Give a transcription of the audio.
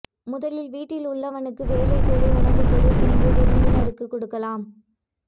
முதலில் வீட்டில் உள்ளவனுக்கு வேலை கொடு உணவு கொடு பின்பு விருந்தினருக்கு கொடுக்கலாம்